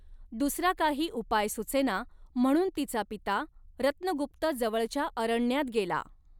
दुसरा काही उपाय सुचेना म्हणून तिचा पिता रत्नगुप्त जवळच्या अरण्यात गेला.